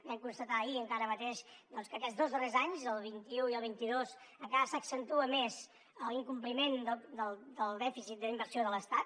vam constatar ahir mateix que aquests dos darrers anys el vint un i el vint dos encara s’accentua més l’incompliment del dèficit d’inversió de l’estat